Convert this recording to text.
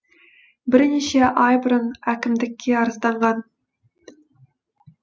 бірнеше ай бұрын әкімдікке арызданған